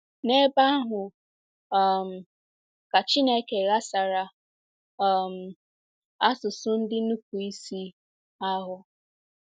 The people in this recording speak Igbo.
N'ebe ahụ um ka Chineke ghasara um asụsụ ndị nupụ isi ahụ.